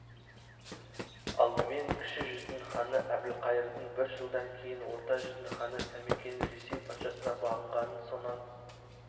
алдымен кіші жүздің ханы әбілқайырдың бір жылдан кейін орта жүздің ханы сәмекенің ресей патшасына бағынғанын сонан